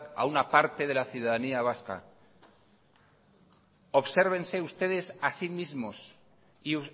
a una parte de la ciudadanía vasca obsérvense ustedes a sí mismos y